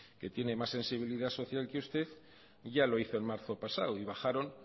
que tiene más sensibilidad social que usted ya lo hizo en marzo pasado y bajaron